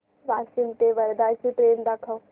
वाशिम ते वर्धा ची ट्रेन दाखव